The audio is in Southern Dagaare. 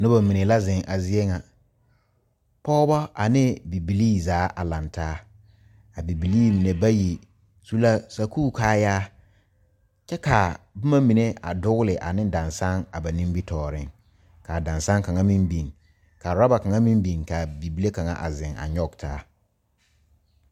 Noba mine la zeŋ a zie ŋa pɔgeba ane bibilee zaa a lantaa a bibilee mine bayi su la sakuri kaayaa kyɛ ka boma mine a dogle ane darasoge a ba nimitɔɔre kaa dansoge kaŋa meŋ biŋ ka rubber kaŋa meŋ biŋ ka bibile kaŋa a zeŋ a nyoŋ taa.